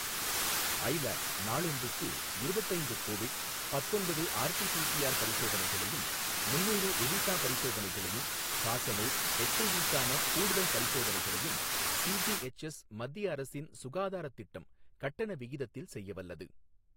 ஐ lab நாளொன்றுக்கு இருபத்து ஐந்து கோவிட், பத்தொன்பது ஆர்டி பிசிஆர் பரிசோதனைகளையும், முன்னூறு எலிசா பரிசோதனைகளையும், காசநோய், எச்ஐவி க்கான கூடுதல் பரிசோதனைகளையும், சிஜிஎச்எஸ் மத்திய அரசின் சுகாதாரத் திட்டம் கட்டண விகிதத்தில் செய்யவல்லது.